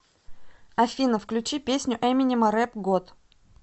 афина включи песню эминема рэп год